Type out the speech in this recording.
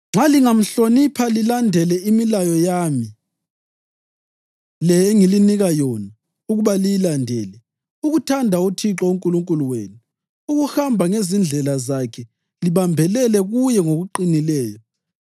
Nxa lingamhlonipha lilandele imilayo yami le engilinika yona ukuba liyilandele, ukuthanda uThixo uNkulunkulu wenu, ukuhamba ngezindlela zakhe libambelele kuye ngokuqinileyo,